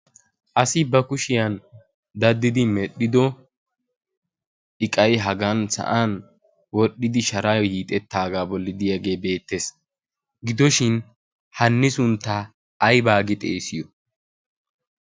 asi ba kushiyan daddidi medhdhido iqai hagan sa'an wodhdhidi shaaraayo yiixettaagaa bollidiyaagee beettees. gidoshin hanni sunttaa aibaagi xeesiyo?